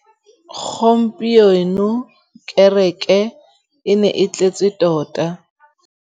Gompieno kêrêkê e ne e tletse tota.